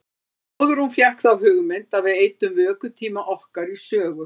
Það var áður en hún fékk þá hugmynd að við eyddum vökutíma okkar í sögu.